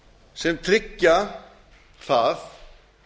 sem tryggja það